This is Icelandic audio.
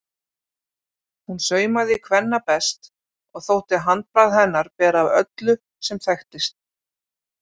Hún saumaði kvenna best og þótti handbragð hennar bera af öllu sem þekktist.